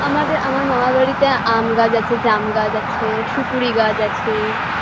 আমাদের আমার মামার বাড়িতে আম গাছ আছে জাম গাছ আছে সুপুরি গাছ আছে